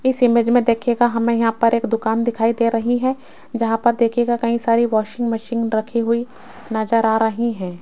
इस इमेज में देखिएगा हमें यहां पर एक दुकान दिखाई दे रही है जहां पर देखिएगा कई सारी वाशिंग मशीन रखी हुई नजर आ रही हैं।